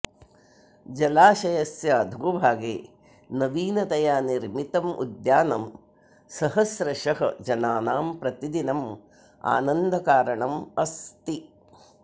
जलाशयस्य अधोभागे नवीनतया निर्मितम् उद्यानं सहस्रशः जनानां प्रतिदिनम् आनन्दकारणम् अस्ति